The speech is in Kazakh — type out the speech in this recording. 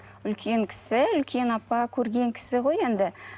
үлкен кісі үлкен апа көрген кісі ғой енді